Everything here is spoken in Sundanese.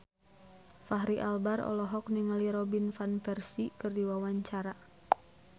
Fachri Albar olohok ningali Robin Van Persie keur diwawancara